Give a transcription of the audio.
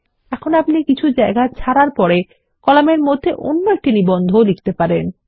এখন আপনি কিছু জায়গা ছাড়ার পরে কলামের মধ্যে অন্য একটি নিবন্ধ লিখতে পারেন